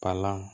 Palan